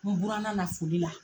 N buranna na foli la